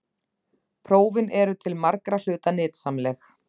Prófin eru til margra hluta nytsamleg.